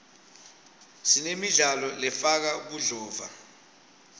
sinemidlalo lefaka budlova